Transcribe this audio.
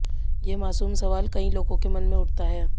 ये मासूम सवाल कई लोगों के मन में उठता है